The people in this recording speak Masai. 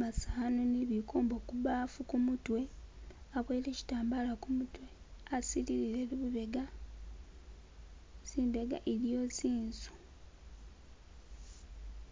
masanu ni bikombo kubafu kumutwe abowole kitambala kumutwe asilile lubega zimbega iliyo zinzu.